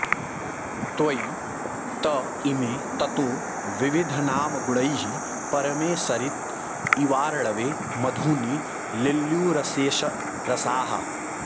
त्वयि त इमे ततो विविधनामगुणैः परमे सरित इवार्णवे मधुनि लिल्युरशेषरसाः